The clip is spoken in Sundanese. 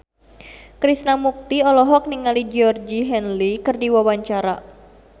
Krishna Mukti olohok ningali Georgie Henley keur diwawancara